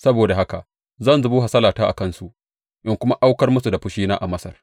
Saboda haka zan zubo hasalata a kansu in kuma aukar musu da fushina a Masar.